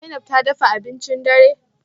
Zainab ta dafa abincin dare?